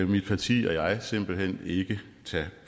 mit parti og jeg simpelt hen ikke tage